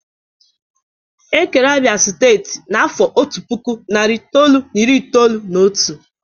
Ekere Abia steeti n'afọ otu puku, nari itoolu na iri itoolu na otu.